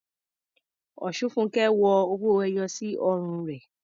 Osunfunke ń wọ owó ẹyọ sí ọrùn rẹ̀.